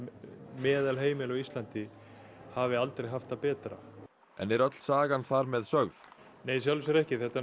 meðalheimili á Íslandi hafi aldrei haft það betra en er öll sagan þar með sögð nei í sjálfu sér ekki þetta